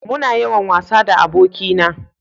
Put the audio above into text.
Muna yawan wasa da aboki na